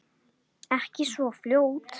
Ekki svo fljótt.